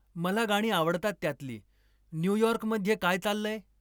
मला गाणी आवडतात त्यातली न्यूयॉर्क मध्ये काय चाललंय?